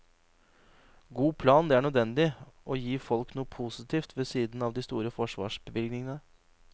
God plan, det er nødvendig å gi folk noe positivt ved siden av de store forsvarsbevilgningene.